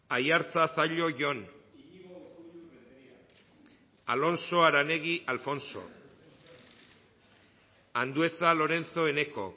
aiartza zallo jon alonso aranegui alfonso andueza lorenzo eneko